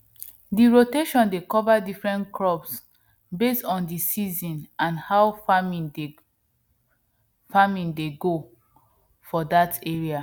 di rotation dey cover different crops base on d season and how farming dey farming dey go for dat area